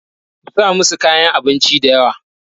ku sa musu kayan abinci da yawa!